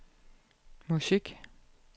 musik